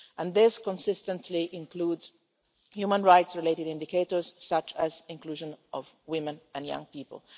These consistently include human rights related indicators, such as inclusion of women and young people.